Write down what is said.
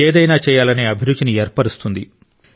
ఏదైనా చేయాలనే అభిరుచిని ఏర్పరుస్తుంది